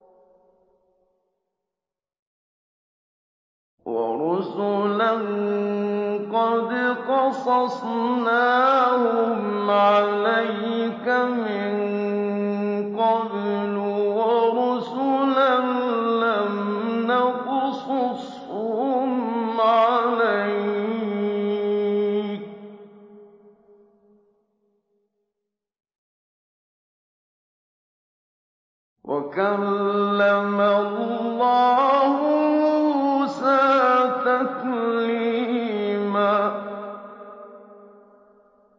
وَرُسُلًا قَدْ قَصَصْنَاهُمْ عَلَيْكَ مِن قَبْلُ وَرُسُلًا لَّمْ نَقْصُصْهُمْ عَلَيْكَ ۚ وَكَلَّمَ اللَّهُ مُوسَىٰ تَكْلِيمًا